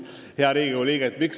Hea Riigikogu liige!